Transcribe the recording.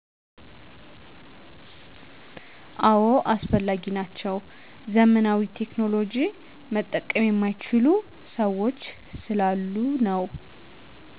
አዎ አስፈላጊ ናቸው። ዘመናዊ ቴክኖሎጅዎች መጠቀም የማይችሉ ሠዎች ስላሉ ነው።